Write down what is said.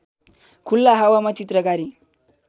खुल्ला हावामा चित्रकारी